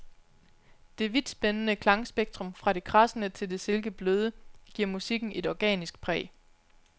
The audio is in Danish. Det vidtspændende klangspektrum, fra det kradsende til det silkebløde, giver musikken et organisk præg.